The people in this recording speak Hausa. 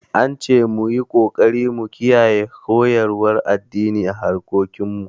An ce mu yi ƙoƙari mu kiyaye koyarwar addini a harkokin mu